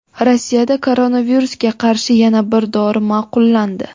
Rossiyada koronavirusga qarshi yana bir dori ma’qullandi.